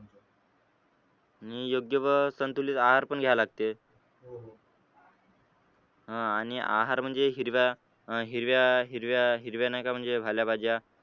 आणि योग्य व संतुलित आहार पण घ्यायला लागतील अह आणि आहार म्हणजे हिरव्या अं हिरव्या हिरव्या हिरव्या नाही का म्हणजे पालेभाज्या